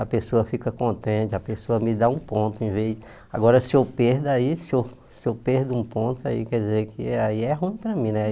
A pessoa fica contente, a pessoa me dá um ponto em vez... Agora, se eu perco aí, se se eu perco um ponto, aí quer dizer que aí é ruim para mim, né?